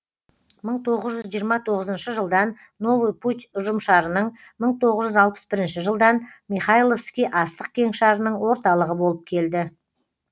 мың тоғыз жүз жиырма тоғызыншы жылдан новый путь ұжымшарының мың тоғыз жүз алпыс бірінші жылдан михайловский астық кеңшарының орталығы болып келді